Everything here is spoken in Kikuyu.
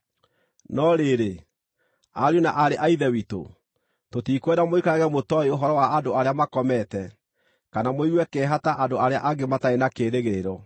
No rĩrĩ, ariũ na aarĩ a Ithe witũ, tũtikwenda mũikarage mũtooĩ ũhoro wa andũ arĩa makomete, kana mũigue kĩeha ta andũ arĩa angĩ matarĩ na kĩĩrĩgĩrĩro.